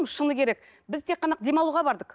шыны керек біз тек қана демалуға бардық